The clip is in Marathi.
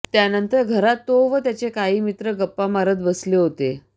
त्यानंतर घरात तो व त्याचे काही मित्र गप्पा मारत बसले होते